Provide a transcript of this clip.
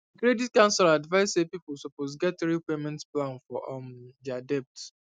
credit counsellor advise say people suppose get real payment plan for um their debt